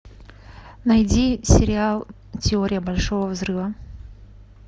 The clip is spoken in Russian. найди сериал теория большого взрыва